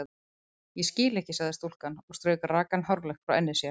Ég skil ekki sagði stúlkan og strauk rakan hárlokk frá enni sér.